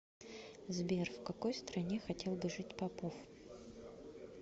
сбер в какой стране хотел бы жить попов